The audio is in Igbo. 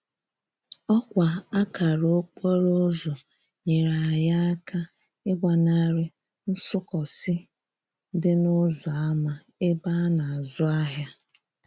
Òkwa akara okporoúzò nyere anyi aka igbanari nsúkósi di n'úzò ama ebe a na azú ahia.